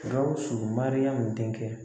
Gawusu Mariyamu denkɛ.